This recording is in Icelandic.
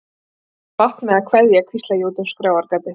Ég á svo bágt með að kveðja, hvísla ég út um skráargatið.